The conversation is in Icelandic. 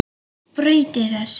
Breyti þessu.